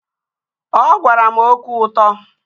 Ọ gwara m okwu ụtọ